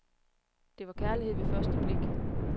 Det var kærlighed ved første blik.